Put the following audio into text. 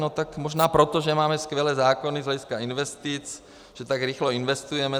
No tak možná proto, že máme skvělé zákony z hlediska investic, že tak rychle investujeme.